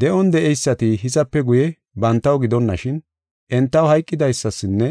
De7on de7eysati hizape guye bantaw gidonashin, entaw hayqidaysasinne